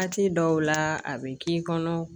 Waati dɔw la a bɛ k'i kɔnɔ